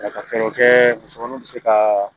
Ka fɛɛrɛw kɛ musomaninw bɛ se ka